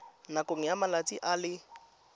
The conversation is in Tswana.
nakong ya malatsi a le